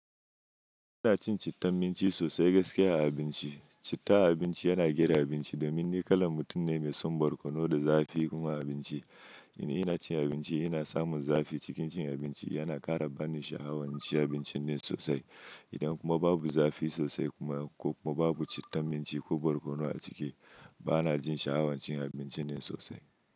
Ina cin cittan minci sosai gaskiya a abinci. Citta a abinci yana gyara abinci domin ni kalan mutum ne mai son borkono da zafi kuma a abinci. Ina cin abinci ina samun zafi. Cikin cin abinci yana ƙara bani sha'awancin abincin ne sosai. Idan kuma babu zafi sosai kuma ko kuma babu cittan minci ko borkono a ciki, ba na jin sha'awan cin abincin ne sosai.